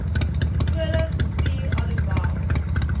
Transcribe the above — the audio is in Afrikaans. skole gestuur alhoewel